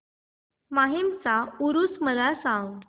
माहीमचा ऊरुस मला सांग